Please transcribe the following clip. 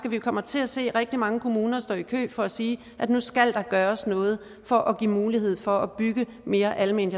at vi kommer til at se rigtig mange kommuner stå i kø for at sige at nu skal der gøres noget for at give mulighed for at bygge mere alment